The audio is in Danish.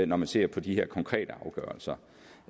når man ser på de her konkrete afgørelser